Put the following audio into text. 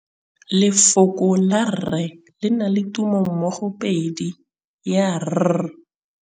Lefoko la rre, le na le tumammogôpedi ya, r.